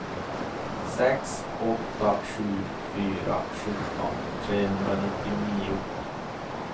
sex åtta sju fyra sjutton trehundranittionio